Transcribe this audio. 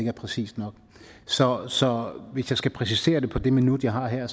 er præcist nok så så hvis jeg skal præcisere det på det minut jeg har her